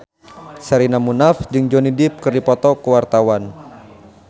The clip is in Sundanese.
Sherina Munaf jeung Johnny Depp keur dipoto ku wartawan